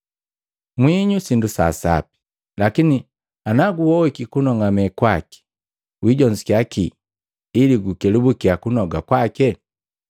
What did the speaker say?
“Mwinyu sindu sa sapi, lakini naguohiki kunong'amake kwaki, wijonzukiya kii ili kukelubuki kunoga kwaki?